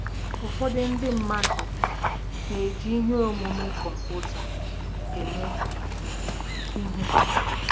Ụfọdụ ndị mmadụ na-eji ihe omume kọmputa eme ihe.